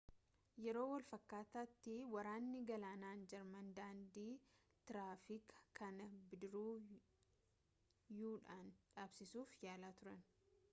yeroo wal-fakkaataatti waraanni galaanaa jarman daandii tiraafikaa kana bidiruu-u dhaan dhaabsisuuf yaalaa turan